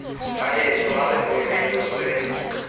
baheso ha re boeleng re